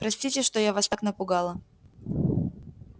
простите что я вас так напугала